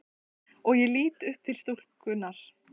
Og ég lít upp til stúlkunnar.